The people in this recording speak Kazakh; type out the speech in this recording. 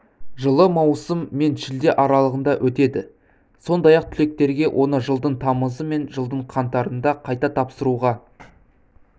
жылы маусым мен шілде аралығында өтеді сондай-ақ түлектерге оны жылдың тамызы мен жылдың қаңтарында қайта тапсыруға